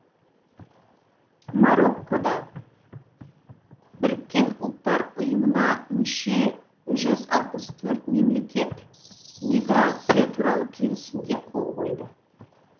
мароккода біріккен ұлттар ұйымына мүше жүз алпыс төрт мемлекет миграция туралы келісімге қол қойды